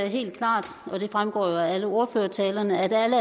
helt klart og det fremgår jo af alle ordførertalerne at alle